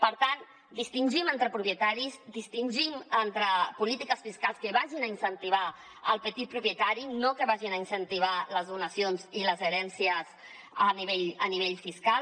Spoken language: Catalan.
per tant distingim entre propietaris distingim entre polítiques fiscals que vagin a incentivar el petit propietari no que vagin a incentivar les donacions i les herències a nivell fiscal